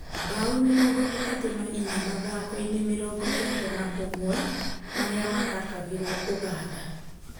Bao mĩrongo ĩtatũ na ĩnya mathako-inĩ mĩrongo kenda na ũmwe marĩa mathakagĩrwo Ũganda.